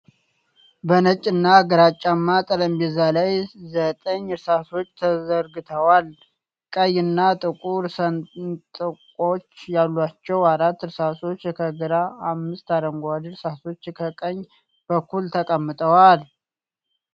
በነጭ እና ግራጫማ ጠረጴዛ ላይ ዘጠኝ እርሳሶች ተዘርግተዋል። ቀይ እና ጥቁር ሰንጥቆች ያሏቸው አራት እርሳሶች ከግራ፣ አምስት አረንጓዴ እርሳሶች ከቀኝ በኩል ተቀምጠዋል።